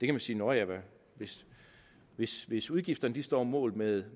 kan sige nå ja hvis hvis udgifterne står mål med